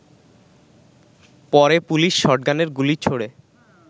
পরে পুলিশ শটগানের গুলি ছোঁড়ে